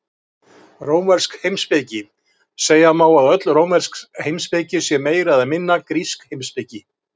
Rómversk heimspeki Segja má að öll rómversk heimspeki sé meira eða minna grísk heimspeki.